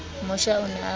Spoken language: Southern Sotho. mosha o ne a ba